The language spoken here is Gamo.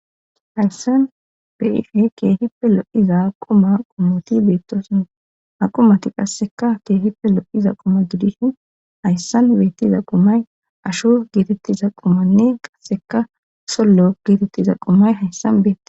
hayssan keehippe lo7iza quma qumoti beettoson a qumati qasseka keehipe lo7iza quma gidishin hayssan beettiza qumay asho geetettiza qumanne qasseka sollo geetettiza qumay hayssan beettees